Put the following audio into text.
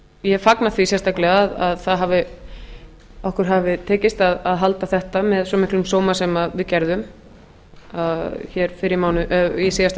ég fagna því sérstaklega að okkur hafi tekist að halda þetta með svo miklum sóma sem við gerðum í síðasta